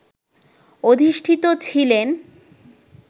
অধিষ্ঠিত ছিলেন